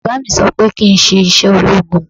Bàbá mi sọ pé kí n ṣe iṣẹ́ ológun